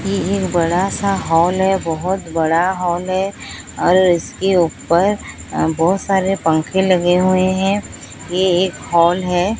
ये एक बड़ा सा हॉल है बहोत बड़ा हॉल है और इसके ऊपर बहोत सारे पंखे लगे हुए हैं ये एक हॉल है।